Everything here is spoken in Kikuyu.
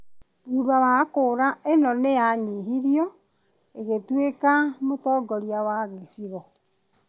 thutha wa kura ĩno nĩ anyihirio agĩtuĩka mũtongoria wa gĩcigo.